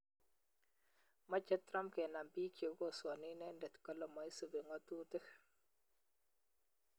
Meche Trump kenam biik che kosoani inende kale maisubi ng'atutik